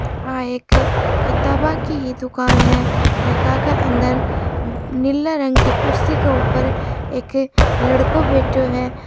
ये एक किताबो की दुकान है जका अंदर नील रंग की कुर्सी के उपर एक लडको बेठो हैं।